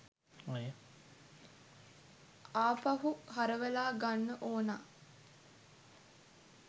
ආපහු හරවලා ගන්න ඕනා.